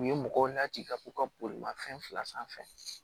U ye mɔgɔw n'a ci ka k'u ka bolimanfɛn fila sanfɛ